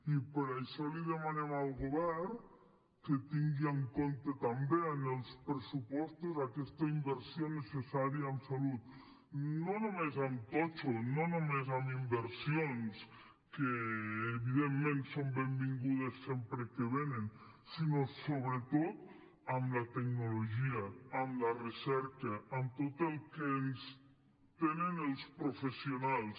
i per això li demanem al govern que tingui en compte també en els pressupostos aquesta inversió necessària en salut no només en totxo no només en inversions que evidentment són benvingudes sempre que venen sinó sobretot en la tecnologia en la recerca en tot el que tenen els professionals